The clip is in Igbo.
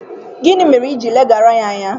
Gịnị mere iji ileghara ya anya?